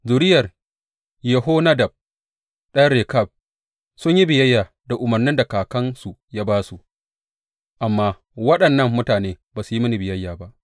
Zuriyar Yehonadab ɗan Rekab sun yi biyayya da umarnin da kakansu ya ba su, amma waɗannan mutane ba su yi mini biyayya ba.’